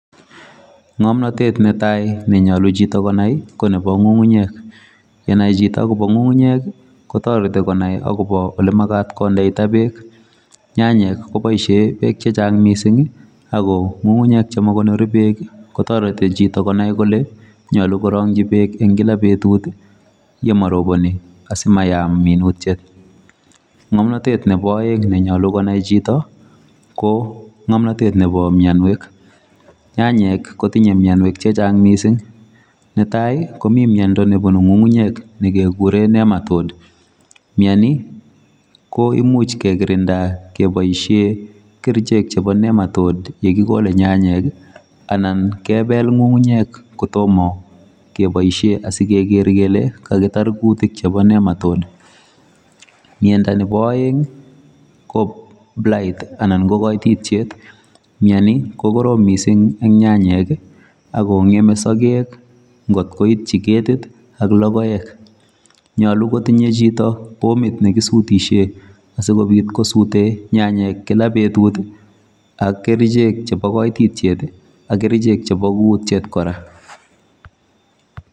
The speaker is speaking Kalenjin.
Ng'omnatet netai nenyolu chito konai ko nepo ng'ung'unyek. Yenai chito akopo ng'ung'unyek kotoreti konai akopo olemakat kondeitoi beek. Nyanyek koboishe beek chechang mising ako ng'ung'unyek chemakonori beek kotoreti chito konai kole nyolu korong'chi beek kila betut yemaroboni asimayam minutiet. Ng'omnotet nepo oeng nenyolu konai chito ko ng'omnotet nepo mienwek. Nyanyek kotinye mienwek chechang mising. Netai komi miendo nebunu ng'ung'unyek nikekure [csnematode[sc]. Mieni ko imuch kekirinda keboishe kerichek chepo nematode yekikole nyanyek anan kepel ng'ung'unyek kotomo keboishe asikeker kele kakipar kutik chepo nematode. Miendo nepo oeng ko blight[sc] anan ko koitityet. Mieni ko korom mising eng nyanyek akong'eme sogek nkot koitchi ketit ak logoek. Nyolu kotinye chito pomit nekisutishe asikobit kosute nyanyek kila betut ak kerichek chepo koitityet ak kerichek chepo kutyet kora.